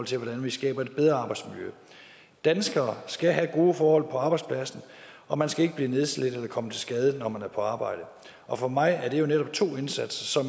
til hvordan vi skaber et bedre arbejdsmiljø danskere skal have gode forhold på arbejdspladsen og man skal ikke blive nedslidt eller komme til skade når man er på arbejde og for mig er det jo netop to indsatser